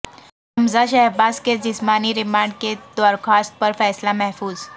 حمزہ شہباز کے جسمانی ریمانڈ کی درخواست پر فیصلہ محفوظ